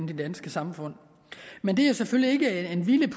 det danske samfund men det er selvfølgelig